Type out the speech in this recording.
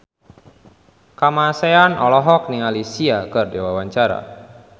Kamasean olohok ningali Sia keur diwawancara